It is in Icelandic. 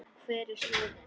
Hver er slóðin?